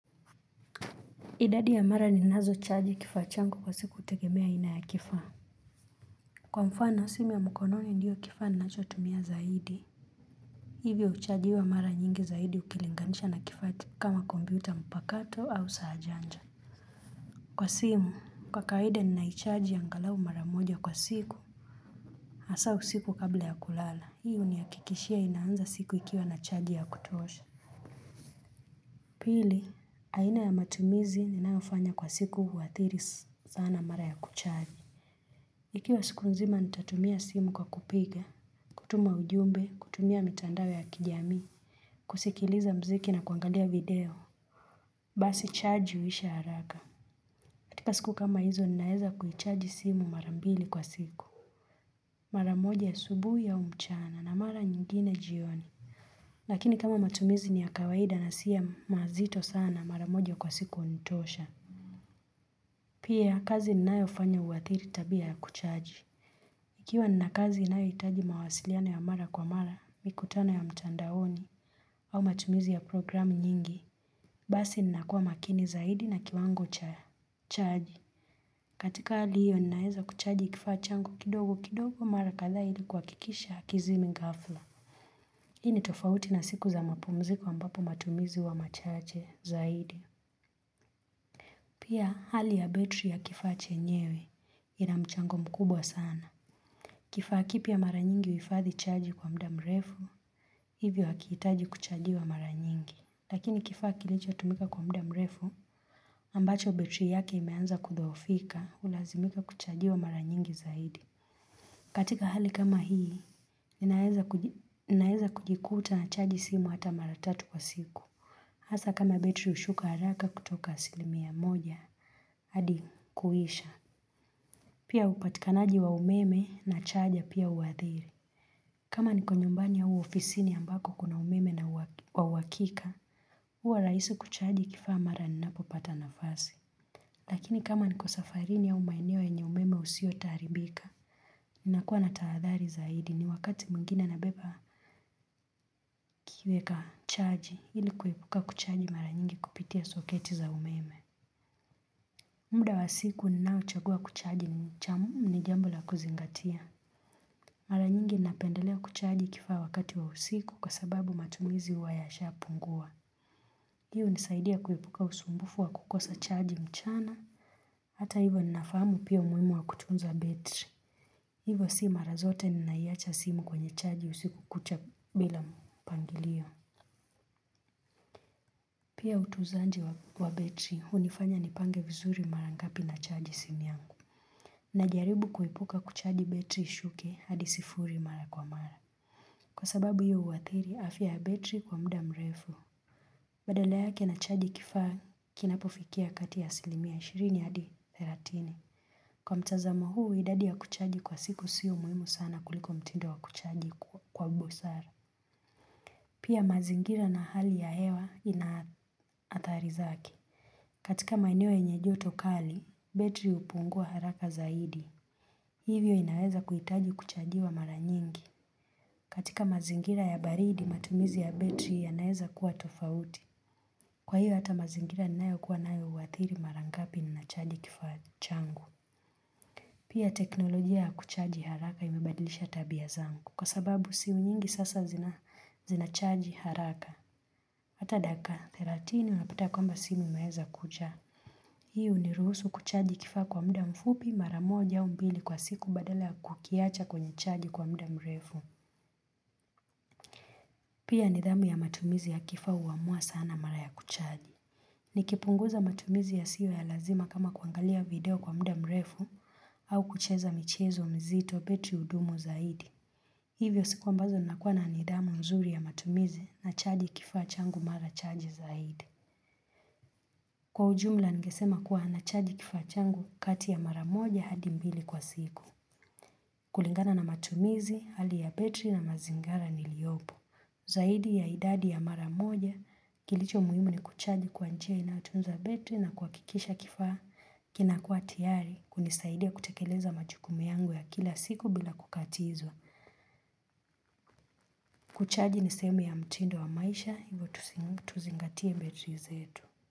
Idadi ya mara ni nazo chaaji kifachangu kwa siku utegemea ina ya kifaa Kwa mfano simu ya mkononi ndiyo kifaa ninachotumia zaidi Hivyo uchaajiwa mara nyingi zaidi ukilinganisha na kifa kama kompiuta mpakato au saajanja Kwa simu kwa kaida ni naichaaji ya angalau mara moja kwa siku Asa usiku kabla ya kulala hii huniyakikishia inaanza siku ikiwa na chaaji ya kutuosha Pili aina ya matumizi ninayofanya kwa siku wathiri sana mara ya kuchaji Ikiwa siku nzima nitatumia simu kwa kupiga kutuma ujumbe, kutumia mitandawe ya kijami kusikiliza mziki na kuangalea video Basi chaaji uisha haraka katika siku kama hizo ninaeza kuhichaji simu marambili kwa siku maramoja ya subuhi ya umchana na mara nyingine jioni Lakini kama matumizi ni ya kawaida nasiyo mazito sana maramoja kwa siku huntosha Pia kazi ninayo hufanya uwathiri tabia ya kuchaji Ikiwa nina kazi inayohitaji mawasiliano ya mara kwa mara mikutano ya mchandaoni au matumizi ya programu nyingi, basi nina kuwa makini zaidi na kiwango cha chaaji. Katika hali hiyo ninaeza kuchaji kifachangu kidogo kidogo mara katha ili kwakikisha kizimingafla. Hii ni tofauti na siku za mapumziko ambapo matumizi huwa machache zaidi. Pia hali ya betri ya kifachenyewe ina mchango mkubwa sana. Kifaa kipia mara nyingi uifathi chaji kwa mda mrefu, hivyo hakiitaji kuchaji wa mara nyingi. Lakini kifaa kilicho tumika kwa mda mrefu, ambacho betri yake imeanza kudhofika, ulazimika kuchaji wa mara nyingi zaidi. Katika hali kama hii, ninaeza kujikuta na chaji simu hata mara tatu kwa siku. Hasa kama betri hushuka haraka kutoka asilimi ya moja, hadi kuisha. Pia upatikanaji wa umeme na chaja pia uwadhiri. Kama niko nyumbani ya uofisini ambako kuna umeme na uwakika, uwa raisi kuchaji kifaa mara ninapo pata nafasi. Lakini kama niko safarini ya umaeneo enye umeme usio taribika, nakuwa na taadhari zaidi ni wakati muingina na beba kikiweka chaji ili kuipuka kuchaji maranyingi kupitia soketi za umeme. Muda wa siku ninauchagua kuchaji ni chamu ni jambula kuzingatia. Mara nyingi napendelea kuchaji kifaa wakati wa usiku kwa sababu matumizi huwa yasha pungua. Hiyo hunisaidia kuipuka usumbufu wa kukosa chaji mchana. Hata hivo ninafahamu pia umuwimu wa kutunza betri. Hivo si mara zote ni naiacha simu kwenye chaji usiku kucha bila mpangilio. Pia utuzanji wa betri hunifanya nipange vizuri marangapi na chaji simi yangu. Najaribu kuipuka kuchaji betri ishuke hadisifuri mara kwa mara. Kwa sababu hiyo uwathiri afia betri kwa mda mrefu. Badala yake na haji kifaa kinapo fikia kati ya 20 hadi 30. Kwa mtazamo huu idadi ya kuchaji kwa siku siu muhimu sana kuliko mtindu wa kuchaji kwa busara. Pia mazingira na hali ya hewa inaathari zake katika maenewo yenye joto kali, betri hupungua haraka zaidi. Hivyo inaweza kuitaji kuchaji wa maranyingi. Katika mazingira ya baridi matumizi ya betri ya naeza kuwa tofauti. Kwa hiyo hata mazingira ni nayo kuwa nayo uwathiri marangapi ni nachaji kifachangu. Pia teknolojia ya kuchaji haraka imebadilisha tabia zangu. Kwa sababu simu nyingi sasa zinachaji haraka. Hata daka, theratini unaputa kwamba simu umeeza kucha. Hiu ni ruhusu kuchaji kifa kwa mda mfupi maramoja umbili kwa siku badala kukiacha kwenye chaji kwa mda mrefu. Pia nidhamu ya matumizi ya kifa uamua sana mara ya kuchaji. Nikipunguza matumizi ya siyo ya lazima kama kuangalia video kwa mda mrefu au kucheza michezo mzito betri hudumu zaidi. Hivyo sikuwa mbazo nakuwa na nidhamu nzuri ya matumizi na chaji kifa changu mara chaji zaidi. Kwa ujumla ningesema kuwa na chaji kifa changu kati ya mara moja hadi mbili kwa siku. Kulingana na matumizi hali ya betri na mazingara niliopo. Zaidi ya idadi ya maramoja kilicho muhimu ni kuchaji kwa njia inatunza betri na kuakikisha kifaa kinakua tiari kunisaidia kutekeleza machukumu yangu ya kila siku bila kukatizwa. Kuchaji nisehemu ya mtindo wa maisha hivyo tuzingatie betri zetu.